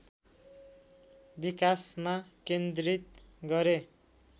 विकासमा केन्द्रित गरे